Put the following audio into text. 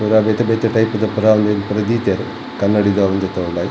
ಬೊಕ ಬೇತೆ ಬೇತೆ ಟೈಪುದ ಪೂರ ದೀತೆರ್ ಕನ್ನಡಿದೌಲ್ ದೆತೊಂಡೆ.